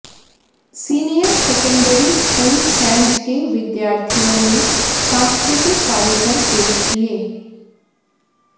senior secondary school Sainj के विद्यार्थियों ने सांस्कृतिक कार्यक्रम पेश किए